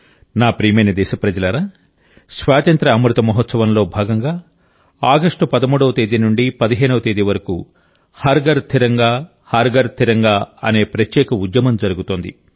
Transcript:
నా ప్రియమైన దేశప్రజలారా స్వాతంత్ర్య అమృత మహోత్సవం లో భాగంగా ఆగస్టు 13వ తేదీ నుండి 15 వరకు హర్ ఘర్ తిరంగా హర్ ఘర్ తిరంగా అనే ప్రత్యేక ఉద్యమం జరుగుతోంది